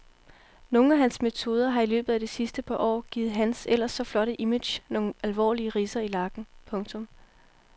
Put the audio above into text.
Nogle af hans metoder har i løbet af det sidste par år givet hans ellers så flotte image nogle alvorlige ridser i lakken. punktum